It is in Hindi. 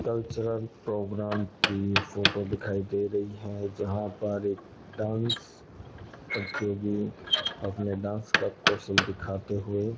कल्चरल प्रोग्राम की फोटो दिखाई दे रही है जहां पर एक डांस प्रतियोगी अपने डांस का कौशन दिखाते हुए --